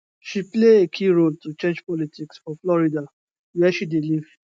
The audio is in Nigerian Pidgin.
she play a key role to change politics for florida wia she dey live